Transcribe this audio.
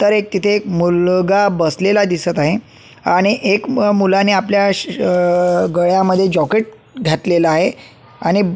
तर एक तेथे एक मुलगा बसलेला दिसत आहे आणि एक मुलाने आपल्या श आ गळ्यामध्ये जॉकेट घातलेल आहे आणि --